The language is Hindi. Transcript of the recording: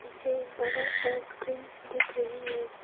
पीछे एक बड़ा सा स्क्रीन दिख रही है।